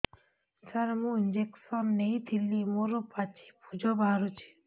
ସାର ମୁଁ ଇଂଜେକସନ ନେଇଥିଲି ମୋରୋ ପାଚି ପୂଜ ବାହାରୁଚି